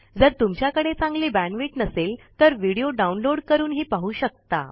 जर तुमच्याकडे चांगली बॅण्डविड्थ नसेल तर व्हिडीओ डाउनलोड करूनही पाहू शकता